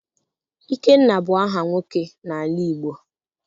Ikenna bụ aha nwoke n'ala Igbo.